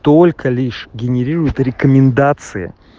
только лишь генерирует рекомендации